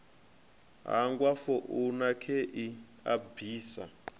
hangwa founu khei a bvisa